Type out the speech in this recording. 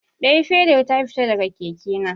Ɗayar fedar ta fita daga keke na.